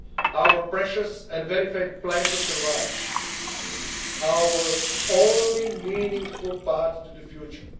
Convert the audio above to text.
is our common heritage our precious and verified plan to survive, our only meaningful